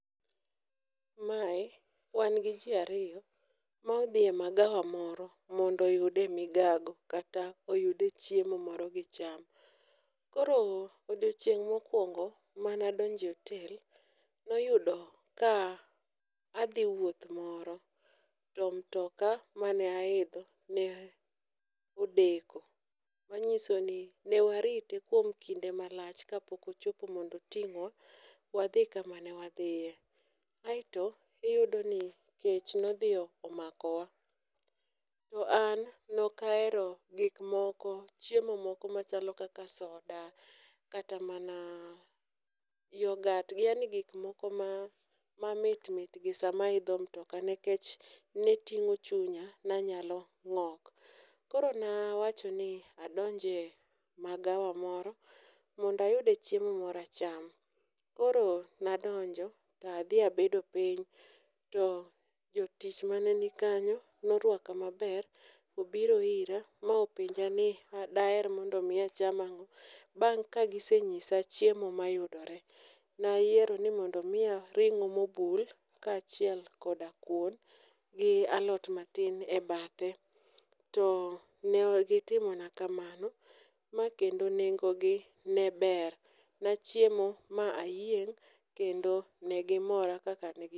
Mae wan gi ji ariyo ma odhiye magawa moro mondo oyude migago kata oyude chiemo moro gicham, koro odiochieng' mokwongo manadonjo e otel noyudo ka adhi wuoth moro to mtoka manaidho ne odeko, manyiso i ne warite kuom kinde malach kapok ochopo mondo oting'wa wadhi kama ne wadhiye, aeto iyudoni kech nodhi omakowa ,an nokahero gik moko, chiemo moko machalo kaka soda kata mana yogat, yaani gikmoko mamit mit gi sama aidho mtoka, nikech ne ting'o chunya nanyalo ng'ok, koro nawachoni adonjie magawa moro mondo ayude chiemo moro acham, koro nadonjo to adhi abedo piny, to jotich mane nikanyo norwako maber, obiro ira ma openja ni daher mondo omi acham ang'o, bang' ka gisenyisa chiemo mayudore. Nayiero ni mondo omiya ring'o mobul kaachiel koda kuon gi alot matin e bathe, to ne gitimona kamano, ma kendo nengogi ne ber ,nachiemo ma ayieng' kendo ne gimora kaka negi